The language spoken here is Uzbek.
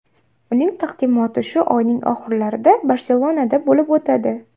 Uning taqdimoti shu oyning oxirlarida Barselonada bo‘lib o‘tadi.